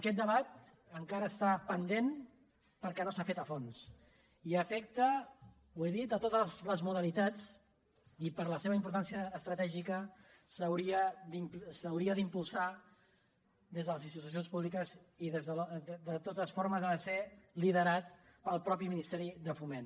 aquest debat encara està pendent perquè no s’ha fet a fons i afecta ho he dit a totes les modalitats i per la seva importància estratègica s’hauria d’impulsar des de les institucions públiques i de totes formes ha de ser liderat pel mateix ministeri de foment